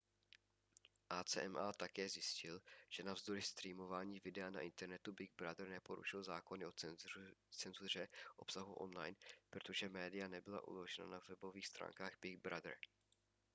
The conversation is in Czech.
acma také zjistil že navzdory streamování videa na internetu big brother neporušil zákony o cenzuře obsahu online protože média nebyla uložena na webových stránkách big brother